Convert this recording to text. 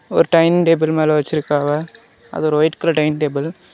ஒரு dining table மேல வச்சிருக்காங்க அது ஒரு ஒயிட் கலர் டைனிங் டேபிள் .